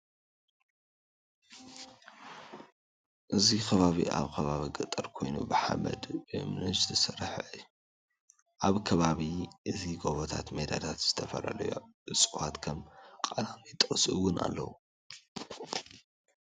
እዚ ከባቢ ኣብ ከባቢ ገጠር ኮይኑ ብሓመድ ብእምንን ዝተሰረሐ እዩ። ኣብዚ ከባቢ እዚ ጎቦታት ሜዳታት ዝተፈላለዩ እፅዋት ከም ቃላሚጦስ እውን ኣለው።